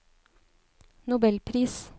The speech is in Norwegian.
nobelpris